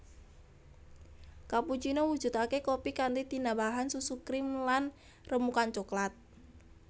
Cappuccino mujudake kopi kanthi tinambahan susu krim lan remukan cokelat